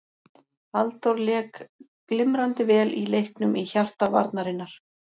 Halldór lék glimrandi vel í leiknum í hjarta varnarinnar.